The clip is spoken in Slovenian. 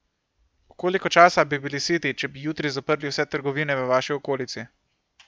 Koliko časa bi bili siti, če bi jutri zaprli vse trgovine v vaši okolici?